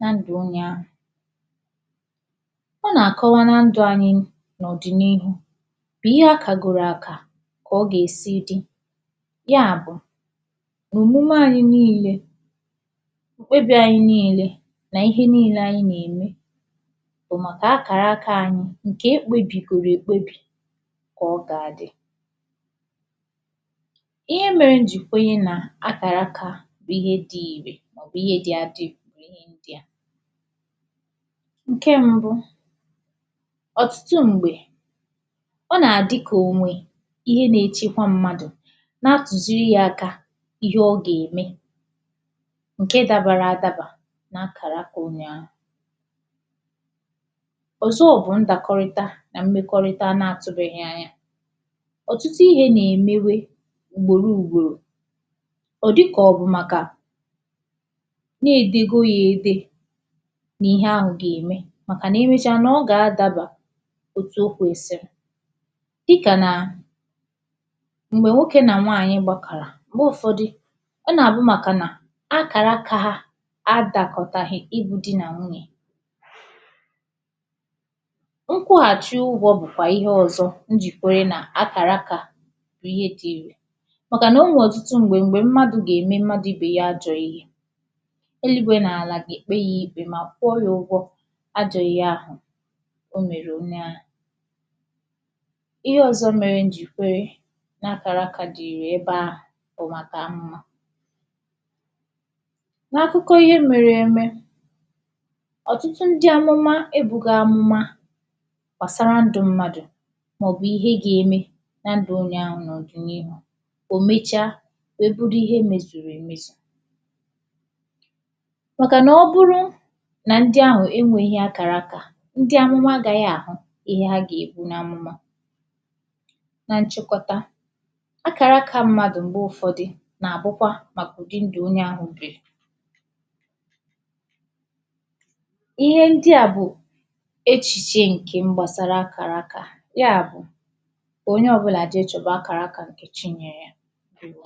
na ndụ onye ahụ̀ ọ na-akọwà na ndụ anyị̀ n’ọdị n’ihu bụ̀ ihe akagoro akà ka ọ ga-esi dị̀ ya bụ̀ n’omume anyị niile eze anyị̀ niile n’ihe niile anyị̀ na-emè bụ̀ makà akarà akà anyị̀ nke ekpebigoro ekpebì ka ọ ga-adị̀ ihe mere m ji kwuo nà akarà akà bụ ihe dị̀ irè bụ̀ ihe dị̀ adị̀ dị yà nke mbụ̀ ọtụtụ̀ m̄gbe ọ na-adị̀ ka onwè ihe na-echekwà mmadụ̀ na-atuziri ya akà ihe ọ ga-emè nke dabara adabà n’akara akà onye ahụ̀ ọzọ̀ bụ̀ ndokorịtà na mmekorità na-atubeghì anya ọtụtụ̀ ihe na-emewe ugboro ugborò ọ dịkà ọ bụ̀ makà na-edegoya edè n’ihe ahụ ga-emè makà na irichà, ọ ga-adabà otù okwesì dịkà na m̄gbe nwoke na nwaanyị̀ gbakarà m̄gbe ụfọdụ̀ ọ na-abụ̀ makà nà akara akà ha adakọtaghị̀ ịbụ̀ di na nwunyè nkwụghachì ụgwọ̀ bụkwà ihe ọzọ̀ njikoyi na akara akà bụ̀ ihe dii makà na onwe ọtụtụ̀ m̄gbe m̄gbe mmadụ̀ ga-eme mmadụ̀ ibe ya ajọ̀ ihe eluigwe na alà ga-ekpe ya ikpe ma kwụọ yà ụgwọ̀ ajọ̀ ihe ahụ̀ o mere onye à ihe ọzọ̀ mere m ji kwue na akara akà dị ire ebe à bụ̀ makà mma n’akụkọ̀ ihe mere emè ọtụtụ ndị amụma ebugo amụma gbasarà ndụ mmadụ̀ maọ̀bụ̀ ihe ga-eme na ndụ onye ahụ̀ n’ọdị̀ n’ihu o mecha wee bụrụ̀ ihe emezuru emezù makà na ọ bụrụ na ndị ahụ enweghì akara akà ndị amụma agaghị̀ ahụ ihe ha ga-ebu n’amụma na nchịkọtà akara akà mmadụ̀ m̄gbe ụfọdị̀ na-abụkwa makà ụdị̀ ndụ onye ahụ birī ihe ndị à bụ̀ echiche nke m gbasarà akara akà ya bụ̀ onye ọbụlà je chọbà akara aka yà Chi nyerè Ndewo!